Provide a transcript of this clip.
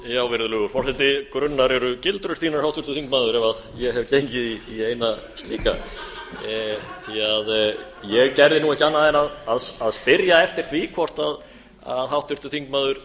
virðulegur forseti grunnar eru gildrur þínar háttvirtur þingmaður ef ég hef gengið í eina slíka því ég gerði nú ekki annað en að spyrja eftir því hvort háttvirtur þingmaður